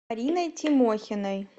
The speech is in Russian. мариной тимохиной